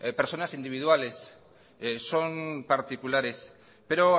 personas individuales son particulares pero